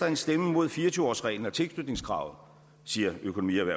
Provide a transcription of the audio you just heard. en stemme mod fire og tyve årsreglen og tilknytningskravet siger økonomi og